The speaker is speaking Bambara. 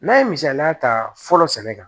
N'a ye misaliya ta fɔlɔ sɛnɛ kan